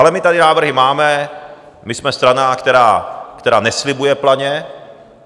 Ale my tady návrhy máme, my jsme strana, která neslibuje planě.